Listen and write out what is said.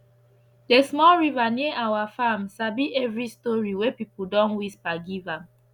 the small river near our farm sabi every story wey people don whisper give am